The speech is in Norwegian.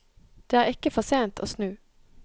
Det er ikke for sent å snu.